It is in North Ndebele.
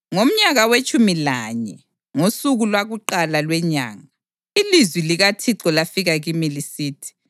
Ngomnyaka wetshumi lanye, ngosuku lwakuqala lwenyanga, ilizwi likaThixo lafika kimi lisithi: